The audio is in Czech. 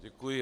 Děkuji.